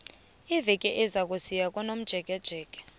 iveke ezako siya komjekejeke